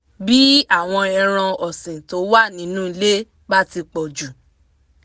bí àwọn ẹran ọ̀sìn tó wà nínú ilé bá ti pọ̀ jù